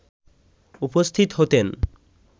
উপস্থিত হতেন